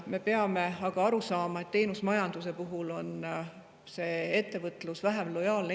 Me peame aga aru saama, et teenusmajanduse puhul on ettevõtlus Eestile vähem lojaalne.